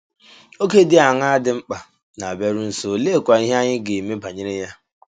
Oge dị aṅaa dị mkpa na - abịaru nso, oleekwa ihe anyị ga - eme banyere ya?